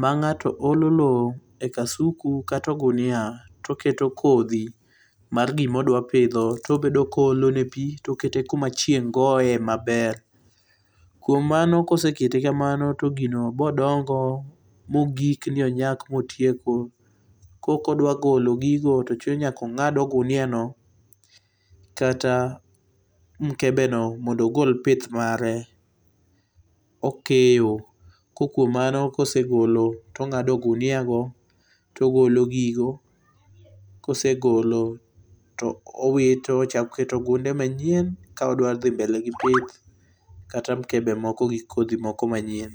ma ngato olo loo e kasuku kata ogunia to oketo kodhi mar gima odwa pidho to obedo ka oolone pii tokete kuma chieng goye maber. Kuom mano kosekete kamano to gino bo dongo ma ogik ni onyak ma otieko, ko kodwa ogolo gigo to chuno mondo ongad ogunia no kata mkebe no mondo ogol pith mare okeyo ko kuom mano kosegolo to ongado gunia go togolo gigo kose golo to owito ochak oketo gunde manyien ka odwa dhi mbele gi pith kata mkebe moko gi kodhi moko manyien